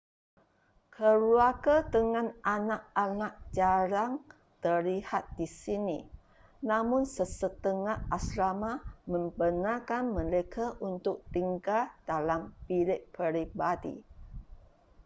keluarga dengan anak-anak jarang terlihat di sini namun sesetengah asrama membenarkan mereka untuk tinggal dalam bilik peribadi